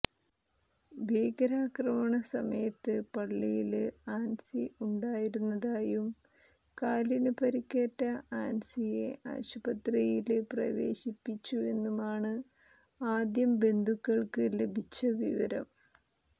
ഭീകരാക്രമണ സമയത്ത് പള്ളിയില് ആന്സി ഉണ്ടായിരുന്നതായും കാലിന് പരിക്കേറ്റ ആന്സിയെ ആസ്പത്രിയില് പ്രവേശിപ്പിച്ചുവെന്നുമാണ് ആദ്യം ബന്ധുക്കള്ക്ക് ലഭിച്ച വിവരം